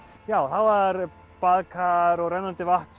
já það var baðkar og rennandi vatn